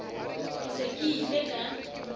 ke se ke ile ka